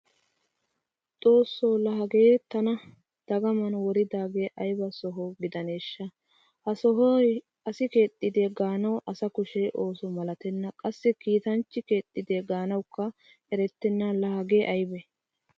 Xoosso laa hagee tana dagaman woridaagee ayba soho gidanddeeshsha. Ha sohoy asi keexxide gaanawu asa kushe ooso malatenna qassi kiitanchchi keexxide gaanawukka erettena laa hagee aybee.